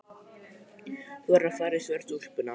Þú verður að fara í svörtu úlpuna.